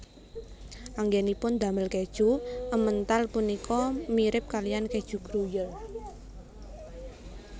Anggènipun damel kèju Emmental punika mirip kalihan kèju Gruyère